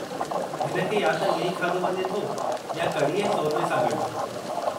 हिन खे या त इएं ई खाधो वञे थो या कड़ी ऐं शोरबे सां गॾु।